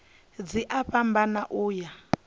dzi a fhambana u ya